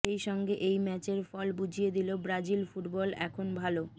সেই সঙ্গে এই ম্যাচের ফল বুঝিয়ে দিল ব্রাজিল ফুটবল এখন ভাল